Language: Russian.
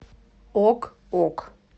ок ок